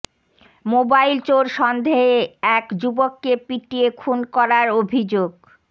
mobile চোর সন্দেহে এক যুবককে পিটিয়ে খুন করার অভিযোগ